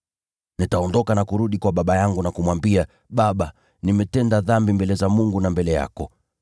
Nitaondoka na kurudi kwa baba yangu na kumwambia: Baba, nimetenda dhambi mbele za Mungu na mbele yako.